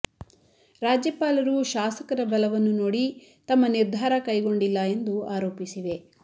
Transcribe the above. ರಾಜ್ಯಪಾಲರು ಶಾಸಕರ ಬಲವನ್ನು ನೋಡಿ ತಮ್ಮ ನಿರ್ಧಾರ ಕೈಗೊಂಡಿಲ್ಲ ಎಂದು ಆರೋಪಿಸಿವೆ